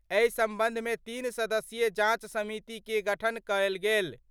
एहि संबंध मे तीन सदस्यीय जांच समिति के गठन करल गेल।